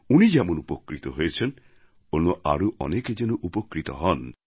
উনি যেমন উপকৃত হয়েছেন অন্য আরও অনেকে যেন উপকৃত হন